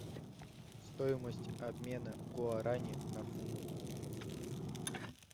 стоимость обмена гуарани на фунт